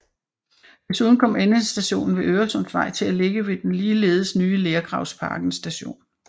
Desuden kom endestationen ved Øresundsvej til at ligge ved den ligeledes nye Lergravsparken st